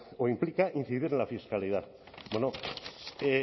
o implica incidir en la fiscalidad bueno